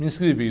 Me inscrevi.